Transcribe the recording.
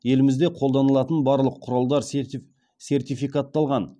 елімізде қолданылатын барлық құралдар сертификатталған